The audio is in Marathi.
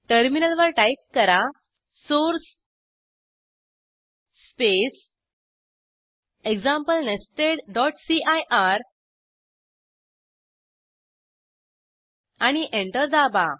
टर्मिनलवर टाईप करा सोर्स स्पेस एक्झाम्पल nestedसीआयआर आणि एंटर दाबा